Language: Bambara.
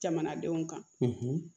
Jamanadenw kan